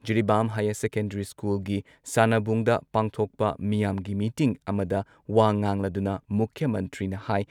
ꯖꯤꯔꯤꯕꯥꯝ ꯍꯥꯌꯔ ꯁꯦꯀꯦꯟꯗ꯭ꯔꯤ ꯁ꯭ꯀꯨꯜꯒꯤ ꯁꯥꯟꯅꯕꯨꯡꯗ ꯄꯥꯡꯊꯣꯛꯄ ꯃꯤꯌꯥꯝꯒꯤ ꯃꯤꯇꯤꯡ ꯑꯃꯗ ꯋꯥ ꯉꯥꯡꯂꯗꯨꯅ ꯃꯨꯈ꯭ꯌ ꯃꯟꯇ꯭ꯔꯤꯅ ꯍꯥꯏ